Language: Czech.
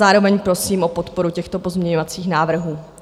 Zároveň prosím o podporu těchto pozměňovacích návrhů.